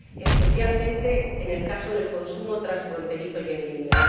especialmente en el caso del consumo transfronterizo y en línea.